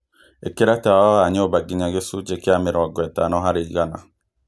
ĩkĩra tawa wa nyũmba nginya gĩcunjĩ kĩa mĩrongo ĩtano harĩ igana